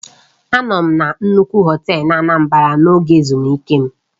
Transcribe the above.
Anọru m na nnukwu họtel n'Anambra n'oge ezumike m.